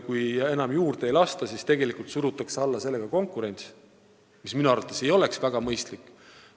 Kui sinna enam juurde ei lasta, siis surutakse sellega alla konkurents, mis minu arvates ei ole väga mõistlik.